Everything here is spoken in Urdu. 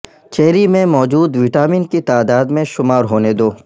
چیری میں موجود وٹامن کی تعداد میں شمار ہونے دو